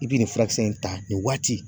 I bi nin furakisɛ in ta nin waati